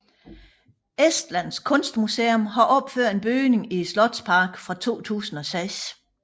Estlands Kunstmuseum har opført en bygning i slotsparken fra 2006